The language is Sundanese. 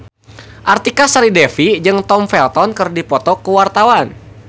Artika Sari Devi jeung Tom Felton keur dipoto ku wartawan